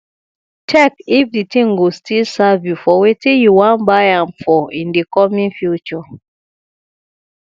check if di thing go still serve you for wetin you wan buy am for in di coming future